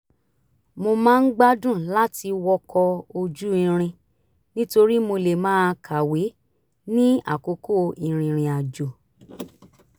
mo máa ń gbádùn láti wọkọ̀ ojú irin nítorí mo lè máa kàwé ní àkókò ìrìnrìn àjò